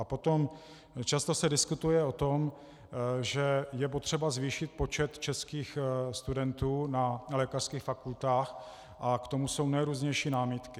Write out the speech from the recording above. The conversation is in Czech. A potom, často se diskutuje o tom, že je potřeba zvýšit počet českých studentů na lékařských fakultách, a k tomu jsou nejrůznější námitky.